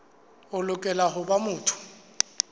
o lokela ho ba motho